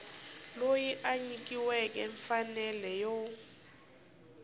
loyi a nyikiweke mfanelo yo